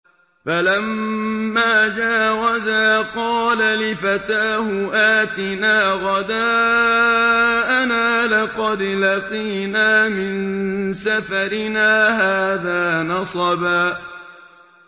فَلَمَّا جَاوَزَا قَالَ لِفَتَاهُ آتِنَا غَدَاءَنَا لَقَدْ لَقِينَا مِن سَفَرِنَا هَٰذَا نَصَبًا